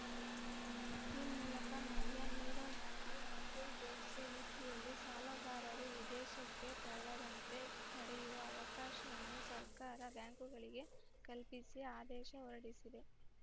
ಈ ಮೂಲಕ ಮಲ್ಯ ನೀರವ್‌ ಮೋದಿ ಮೆಹುಲ್‌ ಚೋಕ್ಸಿ ರೀತಿಯಲ್ಲಿ ಸಾಲಗಾರರು ವಿದೇಶಕ್ಕೆ ತೆರಳದಂತೆ ತಡೆಯುವ ಅವಕಾಶವನ್ನು ಸರ್ಕಾರ ಬ್ಯಾಂಕ್‌ಗಳಿಗೆ ಕಲ್ಪಿಸಿ ಆದೇಶ ಹೊರಡಿಸಿದೆ